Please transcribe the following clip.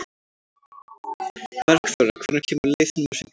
Bergþóra, hvenær kemur leið númer fimmtíu?